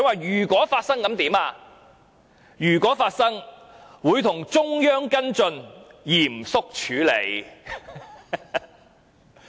如果發生了，會與中央跟進，嚴肅處理。